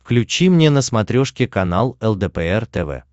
включи мне на смотрешке канал лдпр тв